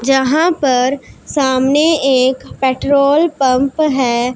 जहां पर सामने एक पेट्रोल पंप हैं।